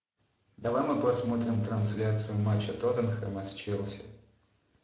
давай мы посмотрим трансляцию матча тоттенхема с челси